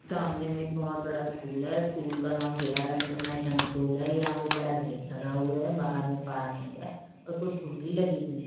सामने में एक बहोत बड़ा स्कूल है स्कूल का नाम गयारा इंटरनैशनल स्कूल है यहां पे बड़ा गेट लगा हुआ है बाहर में पार्किंग है और कुछ खूंटी लगी हुई--